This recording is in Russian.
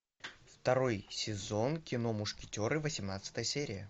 второй сезон кино мушкетеры восемнадцатая серия